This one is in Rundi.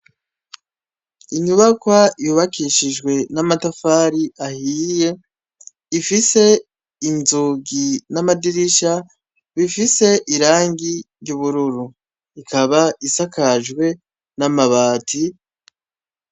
Inyubakwa yubakishijwe n'amatafari ahiye ifise inzugi n'amadirisha bifise irangi ry'ubururu rikaba isakajwe n'amabati.